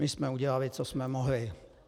My jsme udělali, co jsme mohli.